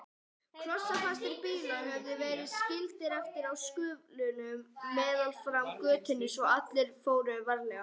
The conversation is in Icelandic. Klossfastir bílar höfðu verið skildir eftir í sköflunum meðfram götunni svo allir fóru varlega.